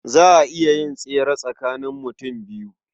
Za a iya yin tsere tsakanin mutum biyu.